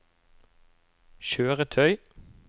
kjøretøy